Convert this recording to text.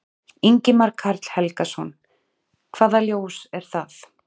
Ingimar Karl Helgason: Hvaða ljós er það?